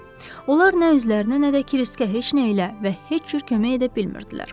Onlar nə özlərinə, nə də Kiriskə heç nə ilə və heç cür kömək edə bilmirdilər.